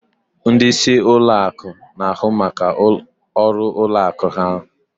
Ndị isi alaka ụlọ akụ na-ahụ maka ọrụ ụlọ akụ ahụ